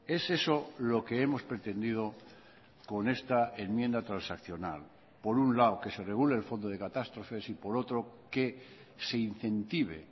es eso lo que hemos pretendido con esta enmienda transaccional por un lado que se regule el fondo de catástrofes y por otro que se incentive